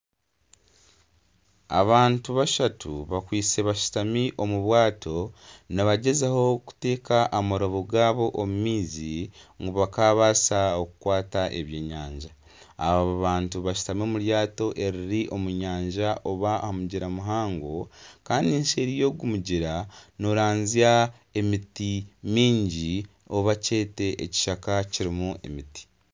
Abantu bashatu bakwitse bashutami omu bwato, nibagyezaho kuta amarobo gaabo omu maizi, ngu bakaabaasa kukwata eby'enyanja, aba bantu bashutami omu ryata eriri aha mugyera muhango kandi seeri y'ogu mugyera, nooranzya emiti mingi abo kyete ekishaka kirimu emiti